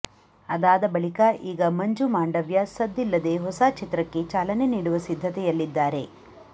ಅದಾದ ಬಳಿಕ ಈಗ ಮಂಜು ಮಾಂಡವ್ಯ ಸದ್ದಿಲ್ಲದೆ ಹೊಸಚಿತ್ರಕ್ಕೆ ಚಾಲನೆ ನೀಡುವ ಸಿದ್ಧತೆಯಲ್ಲಿದ್ದಾರೆ